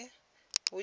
vhutsila